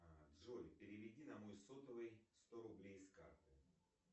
джой переведи на мой сотовый сто рублей с карты